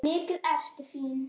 Mikið ertu fín!